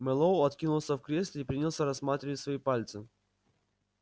мэллоу откинулся в кресле и принялся рассматривать свои пальцы